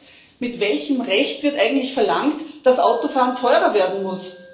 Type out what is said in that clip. Zweitens Mit welchem Recht wird eigentlich verlangt, dass Autofahren teurer werden muss?